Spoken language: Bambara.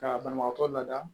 Ka banabagatɔ lada